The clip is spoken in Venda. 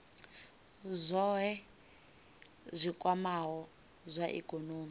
zwohe zwi kwamaho zwa ikonomi